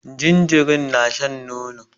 Jinjirin na shan nono